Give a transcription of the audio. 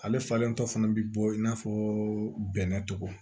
Ale falen dɔ fana bi bɔ i n'a fɔ bɛnɛ tɔgɔ